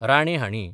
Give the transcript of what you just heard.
राणे हाणीं